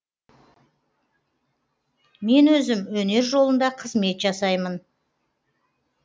мен өзім өнер жолында қызмет жасаймын